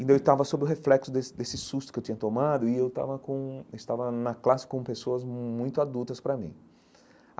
E daí eu estava sob o reflexo desse desse susto que eu tinha tomado e eu estava com estava na classe com pessoas muito adultas para mim.